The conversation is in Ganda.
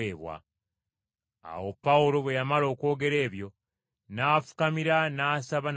Awo Pawulo bwe yamala okwogera ebyo, n’afukamira n’asaba nabo bonna.